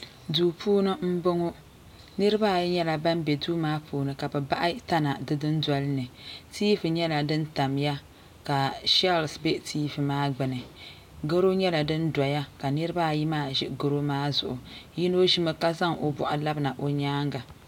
doo puuni bɔŋɔ niribaayi nyɛla ban bɛ doo maa puuni ka be bahi tana di doo dolini tɛvi nyɛla dini tamiya ka shɛlisi bɛ tɛvɛ maa gbani goro nyɛla dini doya ka niribaayi maa ʒɛ goro maa zuɣ yino ʒɛmi ka zaŋ o bɔɣigi labina o nyɛŋa